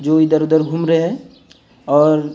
जो इदर उदर घुम रहे हैं और --